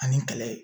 Ani kɛlɛ